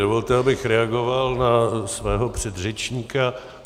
Dovolte, abych reagoval na svého předřečníka.